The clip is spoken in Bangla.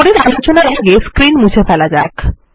পরের আলোচনার আগে স্ক্রীন মুছে ফেলা যাক